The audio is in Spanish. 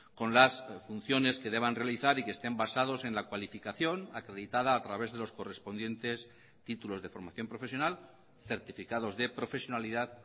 con las funciones que deban realizar y que estén basados en la cualificación acreditada a través de los correspondientes títulos de formación profesional certificados de profesionalidad